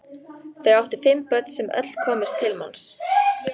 Þau áttu fimm börn sem öll komust til manns.